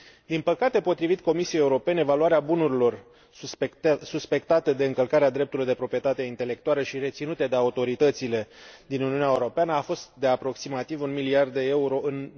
Din păcate, potrivit Comisiei Europene, valoarea bunurilor suspectate de încălcarea drepturilor de proprietate intelectuală și reținute de autoritățile din Uniunea Europeană a fost de aproximativ un miliard de euro, în